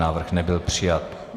Návrh nebyl přijat.